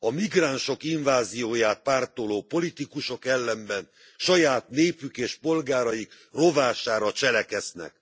A migránsok invázióját pártoló politikusok ellenben saját népük és polgáraik rovására cselekszenek.